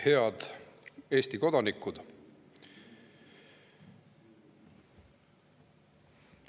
Head Eesti kodanikud!